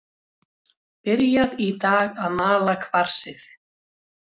Byrjað í dag að mala kvarsið.